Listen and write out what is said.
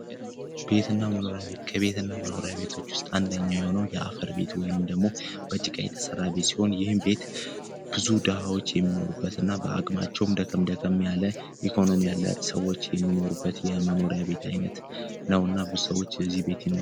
ቤት እና መኖሪያ ቤት ከቤት እና መኖሪያ ቤት ውስጥ አንደኛዉ የሆነው የጭቃ ቤት ወይም ደግሞ ከጭቃ የተሰራበት ቤት ይህም ቤት ብዙ ደሀዎች የሚኖሩበት እና በሀቅም ደከም ደከም ያለ ኢኮኖሚ ያላቸው ሰዎች የሚኖሩበት መኖሪያ አይነት ነውና ብዙ ሰዎችም ይኖሩበታል።